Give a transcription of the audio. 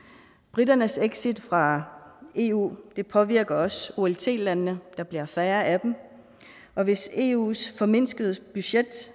briternes exit fra eu påvirker også olt landene der bliver færre af dem og hvis eus formindskede budget